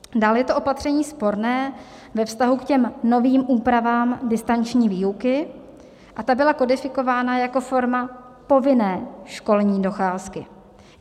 Dále je to opatření sporné ve vztahu k těm novým úpravám distanční výuky a ta byla kodifikována jako forma povinné školní docházky.